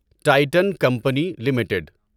Titan company limited